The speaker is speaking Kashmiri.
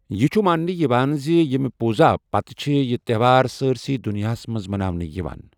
یہِ چُھ مانٛنہٕ یِوان زِ ییٚمہِ پوٗزایہ پتہٕ چھٗ یہِ تہوار سٲرِسٕے دُنیاہس منٛز مَناونہٕ یوان ۔